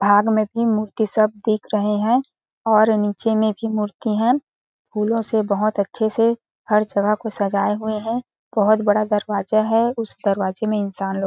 --भाग में भी मूर्ति सब दिख रहे है और नीचे में भी मूर्ति है फूलो से बहुत अच्छे से हर जगह को सज़ाए हुए है बहुत बड़ा दरवाज़ा है उस दरवाज़ा में इंसान लोग--